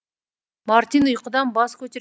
мартин ұйқыдан бас көтер